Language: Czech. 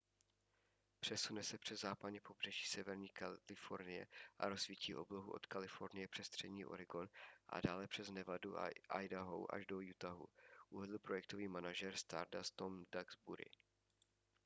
přesune se přes západní pobřeží severní kalifornie a rozsvítí oblohu od kalifornie přes střední oregon a dále přes nevadu a idaho až do utahu uvedl projektový manažer stardust tom duxbury